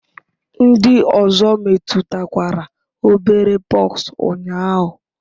Ndị ọzọ metụtakwara obere pox ụnyaahụ?